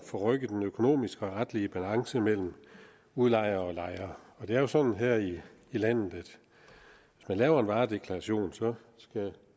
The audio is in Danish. forrykke den økonomiske og retlige balance mellem udlejere og lejere og det er jo sådan her i landet at hvis man laver en varedeklaration skal